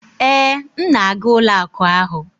Ee, m na-aga ụlọ akụ ahụ